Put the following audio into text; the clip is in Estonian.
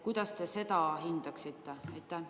Kuidas te seda hindate?